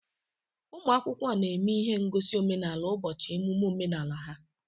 Ụmụ akwụkwọ na-eme ihe ngosi omenala ụbọchị emume omenala ha